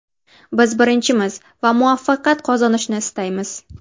Biz birinchimiz va muvaffaqiyat qozonishni istaymiz.